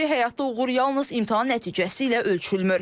Odur ki, həyatda uğur yalnız imtahan nəticəsi ilə ölçülmür.